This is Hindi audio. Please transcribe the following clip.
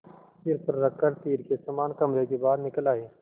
सिर पर रख कर तीर के समान कमरे के बाहर निकल आये